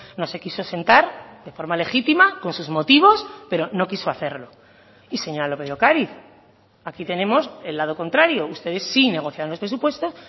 no se quiso sentar de forma legítima con sus motivos pero no quiso hacerlo y señora lópez de ocariz aquí tenemos el lado contrario ustedes sí negociaron los presupuestos